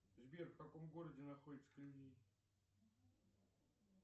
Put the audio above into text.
сбер в каком городе находится колизей